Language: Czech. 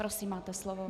Prosím, máte slovo.